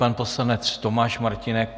Pan poslanec Tomáš Martínek.